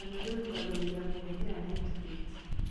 Cameroon kwambĩrĩria kũhũthĩra Netflix.